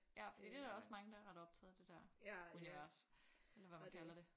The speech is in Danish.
Ja fordi det er der også mange der er ret optaget af det der univers eller hvad man kalder det